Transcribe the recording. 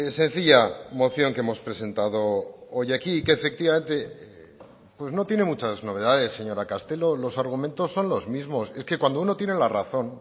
sencilla moción que hemos presentado hoy aquí que efectivamente pues no tiene muchas novedades señora castelo los argumentos son los mismos es que cuando uno tiene la razón